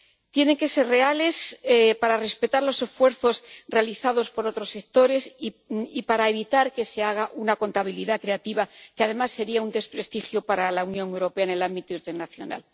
Tienen que ser reales para respetar los esfuerzos realizados por otros sectores y para evitar que se haga una contabilidad creativa, lo que, además, sería un desprestigio para la Unión Europea en el ámbito internacional.